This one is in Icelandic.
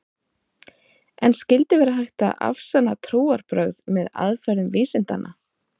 En skyldi vera hægt að afsanna trúarbrögð með aðferðum vísindanna?